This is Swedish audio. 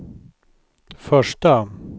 första